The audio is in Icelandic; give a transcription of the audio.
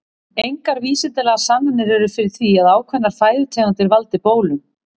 Engar vísindalegar sannanir eru fyrir því að ákveðnar fæðutegundir valdi bólum.